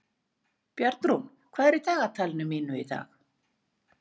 Bjarnrún, hvað er í dagatalinu mínu í dag?